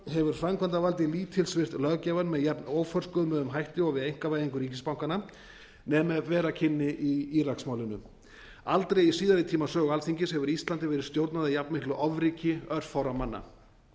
hefur framkvæmdavaldið lítilsvirt löggjafann með jafn óforskömmuðum hætti og við einkavæðingu ríkisbankanna nema ef vera kynni í íraksmálinu aldrei í síðari tíma sögu alþingis hefur íslandi verið stjórnað af jafn miklu ofríki örfárra manna